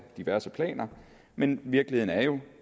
diverse planer men virkeligheden er jo